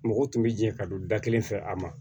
Mɔgɔw tun bɛ jɛ ka don da kelen fɛ a ma